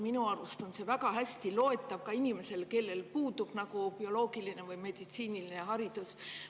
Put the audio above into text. Minu arust on see väga hästi loetav ka sellisele inimesele, kellel puudub bioloogiline või meditsiiniline haridus.